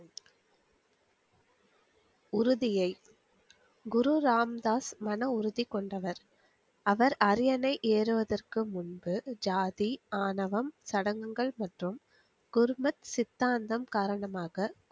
உருதியை குரு ராம்தாஸ் மன உறுதி கொண்டவர் அவர் அரியணை ஏறுவதற்கு முன்பு ஜாதி, ஆணவம் சடங்குகள், மற்றும் கும்பச் சித்தாந்தம் காரணமாக.